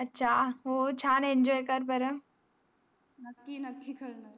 याचा हो छान enjoy कर बारा नाकी नाकी कर नार